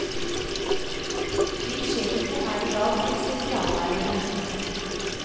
Slikt skjer ikke her i dag, sier sosiallæreren.